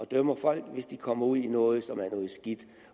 dømme folk hvis de kommer ud i noget skidt